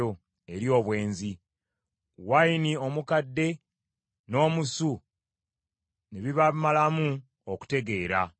eri obwenzi, wayini omukadde n’omusu, ne bibamalamu okutegeera.